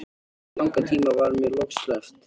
Eftir langan tíma var mér loks sleppt.